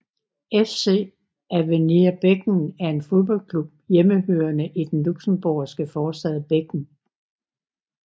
FC Avenir Beggen er en fodboldklub hjemmehørende i den luxembourgske forstad Beggen